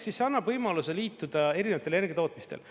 See annab võimaluse liituda erinevatel energiatootmistel.